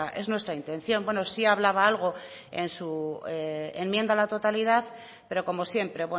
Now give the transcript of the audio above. es nuestra intención bueno sí hablaba algo en su enmienda a la totalidad pero como siempre